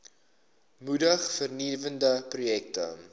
moedig vernuwende projekte